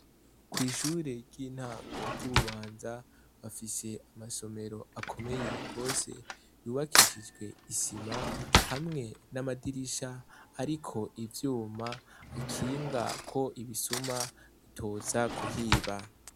Kw'ishure ry'intango ry'i Bubanza, bafise amasomero akomeye gose yubakishijwe isima, hamwe n'amadirisha ariko ivyuma akinga ko ibisuma bitoza kuhiba.